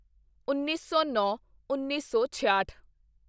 ਉੱਨੀ ਸੌਨੌਂਉੱਨੀ ਸੌ ਛਿਆਹਠ